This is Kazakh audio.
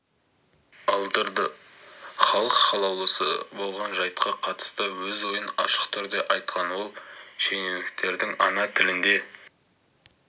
алдырды халық қалаулысы болған жайтқа қатысты өз ойын ашық түрде айтқан ол шенеуніктердің ана тілінде